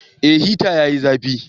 Eh hita yayi zafi